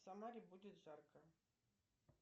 в самаре будет жарко